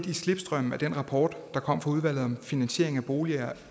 i slipstrømmen af den rapport der kom fra udvalget om finansiering af boliger